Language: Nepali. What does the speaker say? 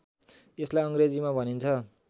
यसलाई अङ्ग्रेजीमा भनिन्छ